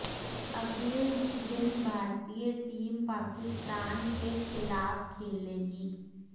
अगले ही दिन भारतीय टीम पाकिस्तान के खिलाफ खेलेगी